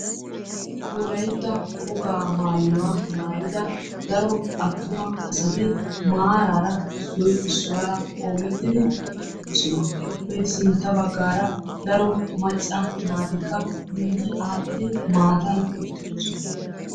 wolaytta wogaa maayuwaa maayida daro attuma assati maarara issoyisuwara qoomettidi eqidossona ettape sintta bagara daro macca naatikka ziiriyani maatta bollani uttidosona.